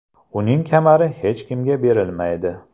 Uning kamari hech kimga berilmaydi.